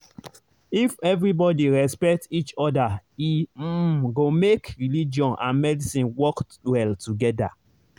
if everybody respect each other e um go make religion and medicine work well together.